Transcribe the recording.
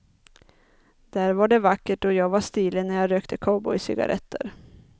Där var det vackert och jag var stilig när jag rökte cowboycigarretter.